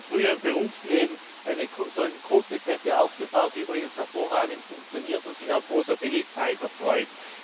Ich habe in meinem früheren Berufsleben eine solche kurze Kette aufgebaut, die hervorragend funktioniert und sich auch großer Beliebtheit erfreut.